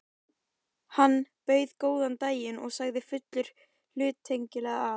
Hann bauð góðan daginn og sagði fullur hluttekningar, að